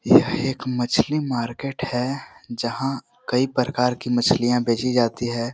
यह एक मछली मार्किट है जहाँ कई प्रकार की मछलियाँ बेचीं जाती है।